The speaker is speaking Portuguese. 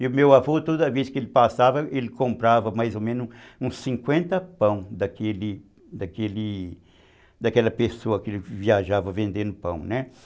E o meu avô, toda vez que ele passava, ele comprava mais ou menos uns cinquenta pães daquele daquele daquela pessoa que viajava vendendo pães, né?